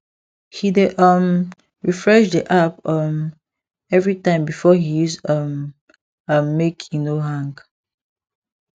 he dey um refresh the app um every time before he use um am make e no hang